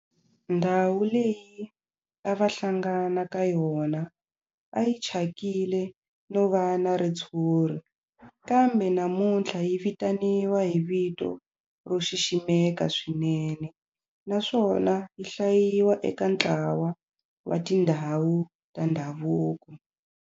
Ndhawu leyi a va hlangana ka yona a yi thyakile no va na ritshuri kambe namuntlha yi vitaniwa hi vito ro xiximeka swinene naswona yi hlayiwa eka ntlawa wa tindhawu ta ndhavuko.